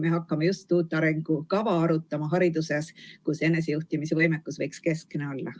Me hakkame just arutama uut hariduse arengukava, kus enesejuhtimisvõimekus võiks keskne olla.